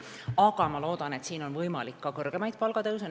Aga ma loodan, et on võimalikud ka kõrgemad palgatõusud.